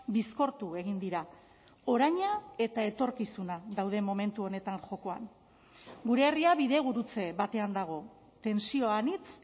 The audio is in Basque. bizkortu egin dira oraina eta etorkizuna daude momentu honetan jokoan gure herria bidegurutze batean dago tentsio anitz